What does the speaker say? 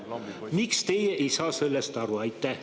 Miks teie sellest aru ei saa?